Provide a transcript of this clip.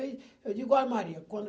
Eu digo, olha, Maria. Quando